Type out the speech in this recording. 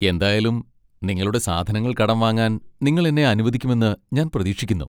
എന്തായാലും, നിങ്ങളുടെ സാധനങ്ങൾ കടം വാങ്ങാൻ നിങ്ങൾ എന്നെ അനുവദിക്കുമെന്ന് ഞാൻ പ്രതീക്ഷിക്കുന്നു.